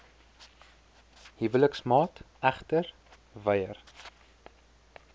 huweliksmaat egter weier